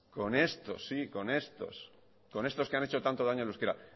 con estos sí con estos que han hecho tanto daño al euskara